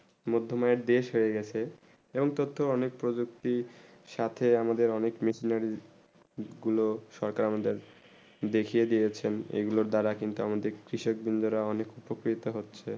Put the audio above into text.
মাধ্যময়ীর দেশ হয়ে গেছে এবং তথ্যের অনেক প্রযুক্তি সাথে আমাদের অনেক মিসলার গুলু সরকার আমাদের দেখিয়ে দিয়ে চে এই গুলু দাদা কিন্তু আমাদের কৃষক বন্ধ রা অনেক খুব প্রকৃত হচ্ছেই